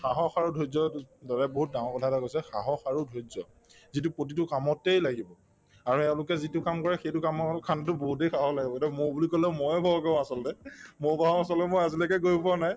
সাহস আৰু ধৈৰ্য্য দুইট‍ দাদাই বহুত ডাঙৰ কথা এটা কৈছে সাহস আৰু ধৈৰ্য্য যিটো প্ৰতিটো কামতেই লাগিব আৰু এওঁলোকে যিটো কাম কৰে সেইটো কামৰ মৌ বুলি কলে ময়ে ভয় কৰো আচলতে মৌ বাহৰ ওচৰলৈকে মই আজিলৈকে গৈ পোৱা নাই